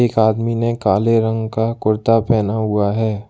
एक आदमी ने काले रंग का कुर्ता पहना हुआ है।